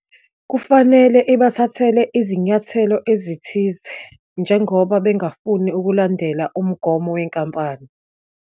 Kufanele ibathathele izinyathelo ezithize, njengoba bengafuni ukulandela umgomo wenkampani.